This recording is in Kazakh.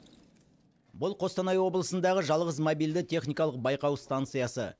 бұл қостанай облысындағы жалғыз мобильді техникалық байқау станциясы